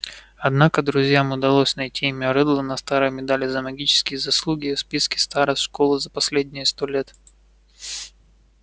однако друзьям удалось найти имя реддла на старой медали за магические заслуги и в списке старост школы за последние сто лет